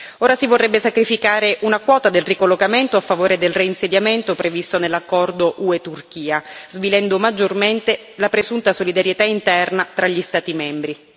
Ora si vorrebbe sacrificare una quota del ricollocamento a favore del reinsediamento previsto nell'accordo UE Turchia, svilendo maggiormente la presunta solidarietà interna tra gli Stati membri.